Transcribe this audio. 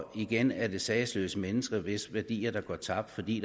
igen er det sagesløse mennesker hvis værdier går tabt fordi